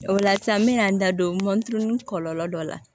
O la sisan n bɛ na n da don moto ni kɔlɔlɔ dɔ la